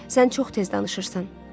Sən çox tez danışırsan.